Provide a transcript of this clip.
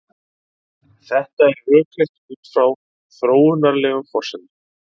Þetta er rökrétt út frá þróunarlegum forsendum.